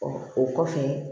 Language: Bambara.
o kɔfɛ